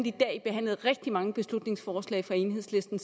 i dag behandlet rigtig mange beslutningsforslag fra enhedslisten